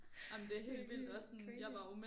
Det er vildt crazy